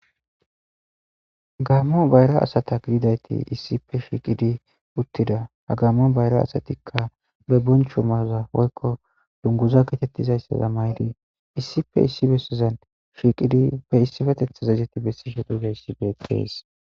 Gamo bayra asata gizaysi issippe shiiqidi uttida. Ha Gamo bayra asatika be boncho mayoza woyko dunguza geetetizaysa mayidi issippe issi bessazan shiiqidi be issipetethaza izeti bessishe dizaysi beetees.